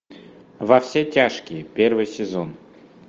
во все тяжкие первый сезон